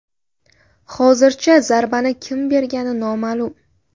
Hozircha zarbani kim bergani noma’lum.